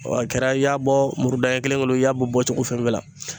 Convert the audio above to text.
Wa a kɛra i y'a bɔ muru daɲɛ kelen kelen i y'a bɔ cogo fɛn fɛn la